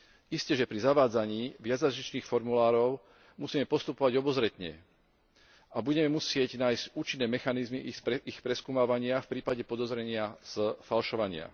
Isteže, pri zavádzaní viacjazyčných formulárov musíme postupovať obozretne a budeme musieť nájsť účinné mechanizmy ich preskúmavania v prípade podozrenia z falšovania.